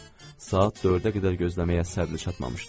Saat dördə qədər gözləməyə əsəbi çatmamışdı.